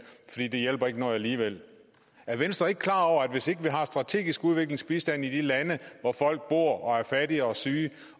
fordi det ikke hjælper noget alligevel er venstre ikke klar over at hvis ikke vi har strategisk udviklingsbistand i de lande hvor folk bor og er fattige og syge